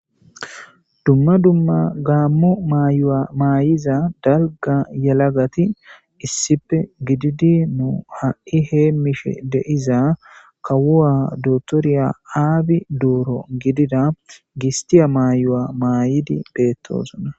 Dumma dumma gaammu maayuwa maayiza dalga yalagati issippe gididi nu ha7i heemishe deiza kawuwa dotorya aabi duuro gidida gistiya mayu7a maayidi beettoosona